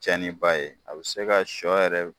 Cɛni ba ye, a bɛ se ka sɔ yɛrɛ